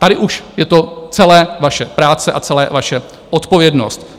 Tady už je to celé vaše práce a celé vaše odpovědnost.